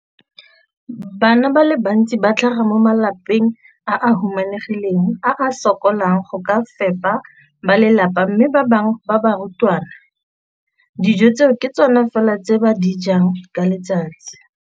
Bana ba le bantsi ba tlhaga mo malapeng a a humanegileng a a sokolang go ka fepa ba lelapa mme ba bangwe ba barutwana, dijo tseo ke tsona fela tse ba di jang ka letsatsi.